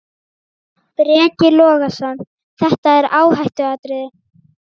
Breki Logason: Þetta er áhættuatriði?